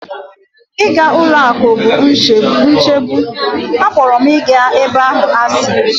Ịga ụlọ akụ bụ nchegbu, akpọrọ m ịga ebe ahụ asị.